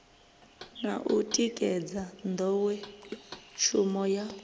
na u tikedza nḓowetshumo ya